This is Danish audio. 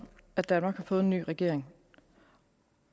at danmark har fået en ny regering